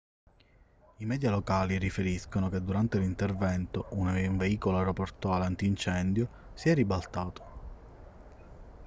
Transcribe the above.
i media locali riferiscono che durante l'intervento un veicolo aeroportuale antincendio si è ribaltato